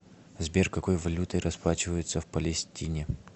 сбер какой валютой расплачиваются в палестине